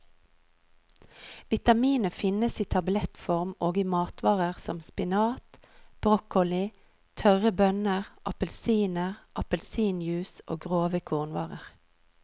Vitaminet finnes i tablettform og i matvarer som spinat, broccoli, tørre bønner, appelsiner, appelsinjuice og grove kornvarer.